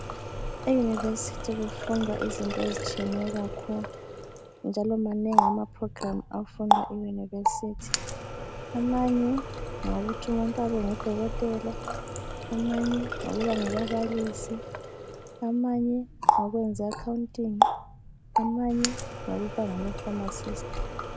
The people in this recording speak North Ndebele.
Eyunivesithi kufundwa izinto ezitshiyeyo kakhulu njalo manengi amaprogramu afundwa eyunivesithi amanye ngawokuthi umuntu abe ngudokotela, amanye ngawokuba ngababalisi ,amanye ngawokwenza i akhawuntingi, amanye ngawokuba ngamafamasisti.